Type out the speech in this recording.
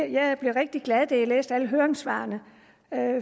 jeg blev rigtig glad da jeg læste alle høringssvarene